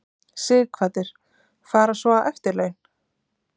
Sighvatur: Fara svo á eftirlaun?